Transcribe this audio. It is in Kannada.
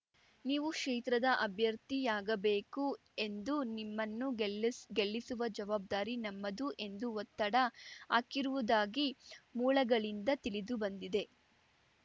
ನೀವು ಕ್ಷೇತ್ರದ ಅಭ್ಯರ್ಥಿಯಾಗಬೇಕು ಎಂದು ನಿಮ್ಮನ್ನು ಗೆಲ್ ಗೆಲ್ಲಿಸುವ ಜವಾಬ್ದಾರಿ ನಮ್ಮದು ಎಂದು ಒತ್ತಡ ಹಾಕಿರುವುದಾಗಿ ಮೂಲಗಳಿಂದ ತಿಳಿದು ಬಂದಿದೆ